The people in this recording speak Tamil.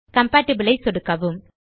கம்பேட்டிபிள் ஐ சொடுக்கவும்